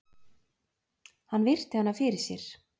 Hann virti hana fyrir sér.